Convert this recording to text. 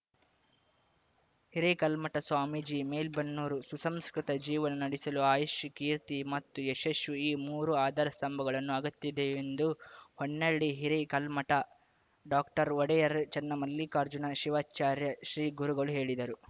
ಹಿರೇಕಲ್ಮಠ ಸ್ವಾಮೀಜಿ ಮೇಲ್ಬೆನ್ನೂರು ಸುಸಂಸ್ಕೃತ ಜೀವನ ನಡೆಸಲು ಆಯುಷ್ಯ ಕೀರ್ತಿ ಮತ್ತು ಯಶಶ್ಷು ಈ ಮೂರು ಆಧಾರ ಸ್ತಂಭಗಳನ್ನು ಅಗತ್ಯವಿದೆ ಎಂದು ಹೊನ್ನಾಳಿ ಹಿರೇಕಲ್ಮಠ ಡಾಕ್ಟರ್ಒಡೆಯರ್‌ ಚನ್ನಮಲ್ಲಿಕಾರ್ಜುನ ಶಿವಾಚಾರ್ಯ ಶ್ರೀಗುರುಗಳು ಹೇಳಿದರು